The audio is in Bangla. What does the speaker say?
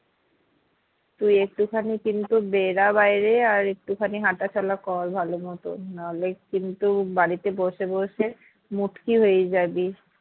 তুই একটু খানি কিন্তু বেড়া বাইরে আর একটু খানি হাঁটাচলা কর ভালো মতন নাহলে কিন্তু বাড়িতে বসে বসে মুটকি হয়ে জাবি